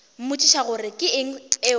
mmotšiša gore ke eng o